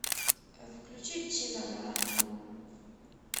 включи чинана